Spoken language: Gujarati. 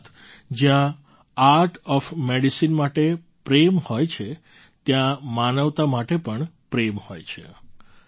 અર્થાત્ જ્યાં આર્ટ ઑફ મેડિસિન માટે પ્રેમ હોય છે ત્યાં માનવતા માટે પણ પ્રેમ હોય છે